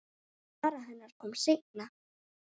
Sara hennar kom seinna.